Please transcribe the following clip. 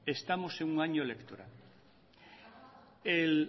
estamos en un año electoral